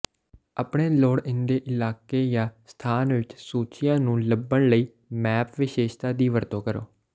ਆਪਣੇ ਲੋੜੀਂਦੇ ਇਲਾਕੇ ਜਾਂ ਸਥਾਨ ਵਿੱਚ ਸੂਚੀਆਂ ਨੂੰ ਲੱਭਣ ਲਈ ਮੈਪ ਵਿਸ਼ੇਸ਼ਤਾ ਦੀ ਵਰਤੋਂ ਕਰੋ